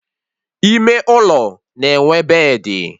Ime ụlọ na-enwe bedị